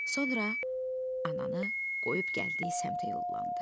Sonra ananı qoyub gəldiyi səmtə yollandı.